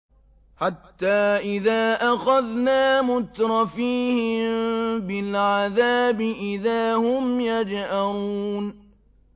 حَتَّىٰ إِذَا أَخَذْنَا مُتْرَفِيهِم بِالْعَذَابِ إِذَا هُمْ يَجْأَرُونَ